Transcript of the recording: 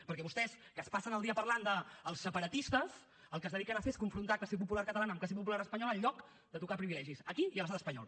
perquè vostès que es passen el dia parlant dels separatistes el que es dediquen a fer és confrontar classe popular catalana amb classe popular espanyola en lloc de tocar privilegis aquí i a l’estat espanyol